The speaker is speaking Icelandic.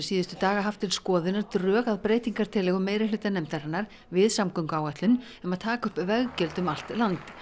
síðustu daga haft til skoðunar drög að breytingartillögum meirihluta nefndarinnar við samgönguáætlun um að taka upp veggjöld um allt land